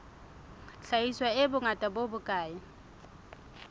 hlahiswa e bongata bo bokae